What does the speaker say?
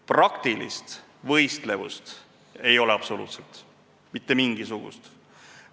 Praktilist võistlevust ei ole absoluutselt, mitte mingisugust.